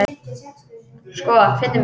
Sko, finndu mig.